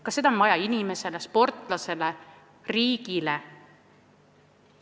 Kas seda on vaja inimesele, sportlasele, riigile?